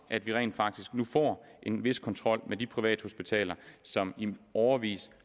at vi rent faktisk nu får en vis kontrol med de privathospitaler som i årevis